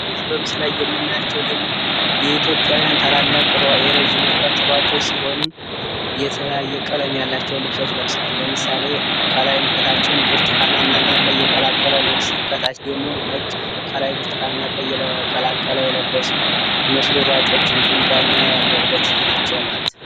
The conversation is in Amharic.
እነዚህ በምስሉ ላይ የምናያቸው ደግሞ የኢትዮጵያውያን ታላላቅ የረጅም ርቀት ሯጮች ሲሁኑ የተለያየ ቀለም ያላቸውን ልብሶች ለብሰዋል። ለምሳሌ ከላይም ከታችም ብርቱካናማ የቀላቀለ ልብስ ከታች ደግሞ ነጭ ከላይ ብርቱካን እና ቀይ የቀላቀለ የለበሱ መስሎ ሯጮች እንዲሁም ዳኛ ያለበት ናቸው ማለት ነው።